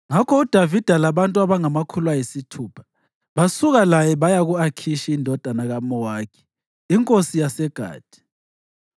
Ngakho uDavida labantu abangamakhulu ayisithupha basuka laye baya ku-Akhishi indodana kaMawokhi inkosi yaseGathi.